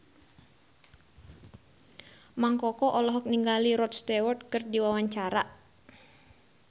Mang Koko olohok ningali Rod Stewart keur diwawancara